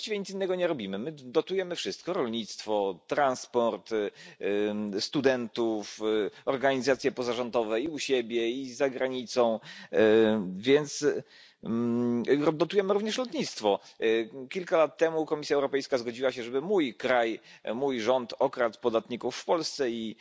My tu właściwie nic innego nie robimy, dotujemy wszystko rolnictwo, transport, studentów, organizacje pozarządowe, i u siebie, i za granicą, więc dotujemy również lotnictwo. Kilka lat temu Komisja Europejska zgodziła się, żeby mój kraj, mój rząd okradł podatników w Polsce